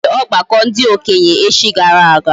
E nwere ogbako ndi okenye echi gara aga